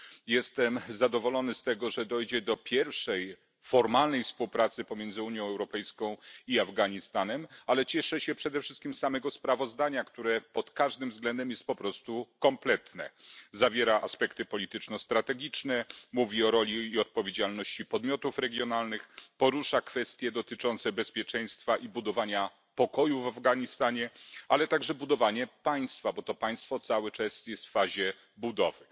Jestem zadowolony z tego, że dojdzie do pierwszej formalnej współpracy pomiędzy Unią Europejską i Afganistanem, ale cieszę się przede wszystkim z samego sprawozdania, które pod każdym względem jest po prostu kompletne zawiera aspekty polityczno strategiczne, mówi o roli i odpowiedzialności podmiotów regionalnych, porusza kwestie dotyczące bezpieczeństwa i budowania pokoju w Afganistanie, ale także budowanie państwa, bo to państwo cały czas jest w fazie budowy.